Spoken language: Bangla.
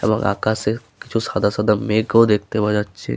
এবং আকাশে কিছু সাদা সাদা মেঘ ও দেখতে পাওয়া যাচ্ছে ।